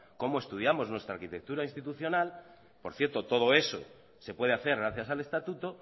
cómo estudiamos nuestra arquitectura institucional por cierto todo eso se puede hacer gracias al estatuto